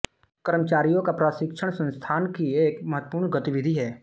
कर्मचारियों का प्रशिक्षण संस्थान की एक महत्वपूर्ण गतिविधि है